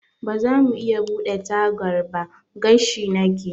Bazamu iya buɗe tagar ba? gashi nake.